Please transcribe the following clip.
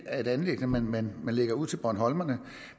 er et anliggende man man lægger ud til bornholmerne